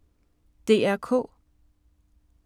DR K